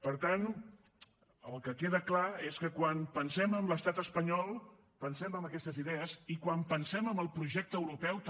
per tant el que queda clar és que quan pensem en l’estat espanyol pensem en aquestes idees i quan pensem en el projecte europeu també